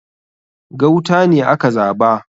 Gauta ne aka zaba